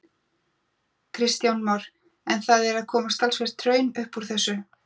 Kristján Már: En það er að koma talsvert hraun upp úr þessu?